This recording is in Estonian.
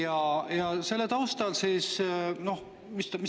Aga mis ta tegi?